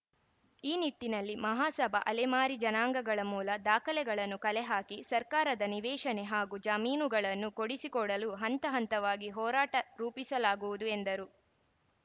ಈ ನಿಟ್ಟಿನಲ್ಲಿ ಮಹಾಸಭಾ ಅಲೆಮಾರಿ ಜನಾಂಗಗಳ ಮೂಲ ದಾಖಲೆಗಳನ್ನು ಕಲೆ ಹಾಕಿ ಸರ್ಕಾರದ ನಿವೇಶನೆ ಹಾಗೂ ಜಮೀನುಗಳನ್ನು ಕೊಡಿಸಿಕೊಡಲು ಹಂತ ಹಂತವಾಗಿ ಹೋರಾಟ ರೂಪಿಸಲಾಗುವುದು ಎಂದರು